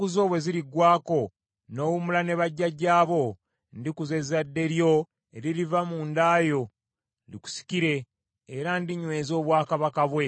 Ennaku zo bwe ziriggwaako, n’owummula ne bajjajjaabo, ndikuza ezzadde lyo eririva munda yo likusikire, era ndinyweza obwakabaka bwe.